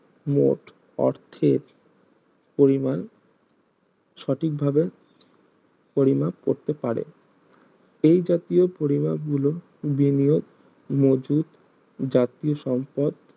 মোট অর্থের পরিমান সঠিক ভাবে পরিমাপ করতে পারে এই জাতীয় পরিমাপ গুলো বিনিয়োগ মজুত জাতীয় সম্পদ